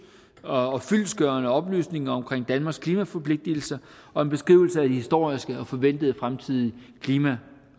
og fyldestgørende oplysninger om danmarks klimaforpligtigelser og en beskrivelse af de historiske og forventede fremtidige klima